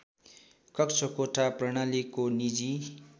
कक्षाकोठा प्रणालीको निजी